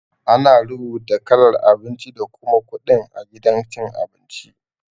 Ana rubuta kalar abinci da kuma kudin a gidan cin abinci.